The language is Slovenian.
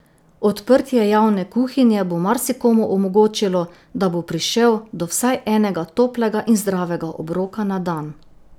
Odprtje javne kuhinje bo marsikomu omogočilo, da bo prišel do vsaj enega toplega in zdravega obroka na dan.